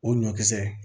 O ɲɔkisɛ